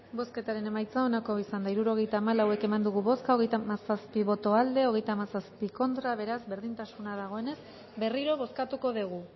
bozketaren emaitza onako izan da hirurogeita hamalau eman dugu bozka hogeita hamazazpi boto aldekoa treinta y siete contra beraz berdintasuna dagoenez berriro bozkatuko dugu